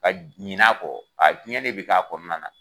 Ka ɲinɛ a kɔ, a diɲɛ de bɛ k'a kɔnɔna na.